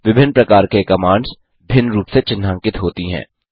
विभिन्न प्रकार के कमांड्स भिन्न रूप से चिन्हांकित होती हैं